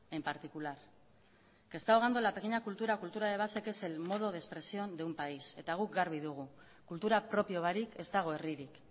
en particular está ahogando la pequeña cultura o cultura de base que es el modo de expresión de un país eta guk garbi dugu kultura propio barik ez dago herririk